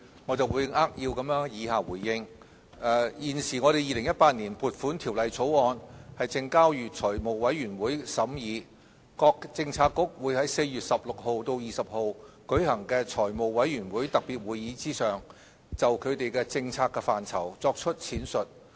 我會扼要地作以下的回應：現時《2018年撥款條例草案》正交予財務委員會審議，各政策局會於4月16日至20日舉行的財務委員會特別會議上，就其政策範疇作出闡述。